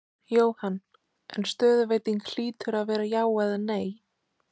Jóhann: En stöðuveiting hlýtur að vera já eða nei?